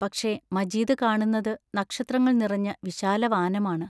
പക്ഷേ, മജീദ് കാണുന്നതു നക്ഷത്രങ്ങൾ നിറഞ്ഞ വിശാലവാനമാണ്.